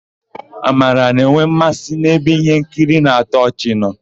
Amara na-enwe mmasị ebe íhénkiri na-atọ ọchị nọ.